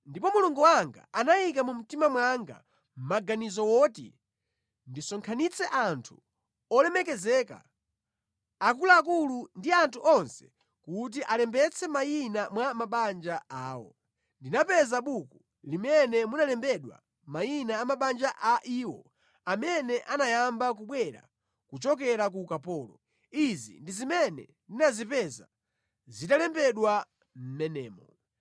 Ndipo Mulungu wanga anayika mu mtima mwanga maganizo oti ndisonkhanitse anthu olemekezeka, akuluakulu ndi anthu onse kuti alembetse mayina mwa mabanja awo. Ndinapeza buku limene munalembedwa mayina a mabanja a iwo amene anayamba kubwera kuchokera ku ukapolo. Izi ndi zimene ndinazipeza zitalembedwa mʼmenemo: